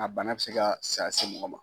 A bana bɛ se ka saya se mɔgɔ ma.